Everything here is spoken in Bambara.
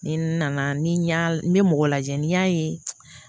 Ni nana ni y'a n bɛ mɔgɔ lajɛ n'i y'a ye